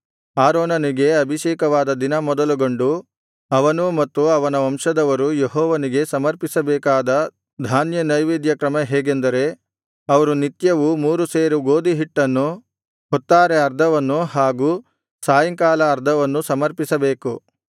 ಆರೋನನಿಗೆ ಅಭಿಷೇಕವಾದ ದಿನ ಮೊದಲುಗೊಂಡು ಅವನೂ ಮತ್ತು ಅವನ ವಂಶದವರೂ ಯೆಹೋವನಿಗೆ ಸಮರ್ಪಿಸಬೇಕಾದ ಧಾನ್ಯ ನೈವೇದ್ಯ ಕ್ರಮ ಹೇಗೆಂದರೆ ಅವರು ನಿತ್ಯವೂ ಮೂರು ಸೇರು ಗೋದಿಹಿಟ್ಟನ್ನು ಹೊತ್ತಾರೆ ಅರ್ಧವನ್ನು ಹಾಗೂ ಸಾಯಂಕಾಲ ಅರ್ಧವನ್ನು ಸಮರ್ಪಿಸಬೇಕು